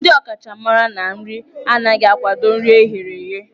Ndị ọkachamara na nri anaghị akwado nri eghere eghe.